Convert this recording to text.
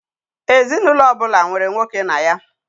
Ezinaụlọ ọbụla nwere nwoke na ya.